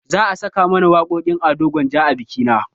Za a saka mana waƙoƙin ado gwanja a bikina